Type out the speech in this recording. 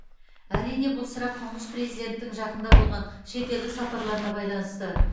әрине бұл сұрақ тұңғыш президенттің жақында болған шетелдік сапарларына байланысты